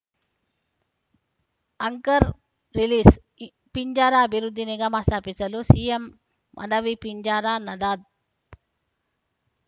ಅಂಕರ್‌ release Pinjara ಅಭಿವೃದ್ಧಿ ನಿಗಮ ಸ್ಥಾಪಿಸಲು ಸಿಎಂಗೆ ಮನವಿ ಪಿಂಜಾರ ನದಾಫ್‌